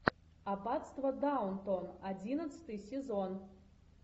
аббатство даунтон одиннадцатый сезон